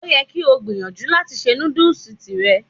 Ó yẹ kí o gbìyànjú láti ṣe nudus tìrẹ.